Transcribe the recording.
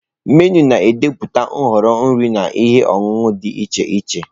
Menụ na-ede pụta nhọrọ nri na ihe ọṅụṅụ dị iche Che.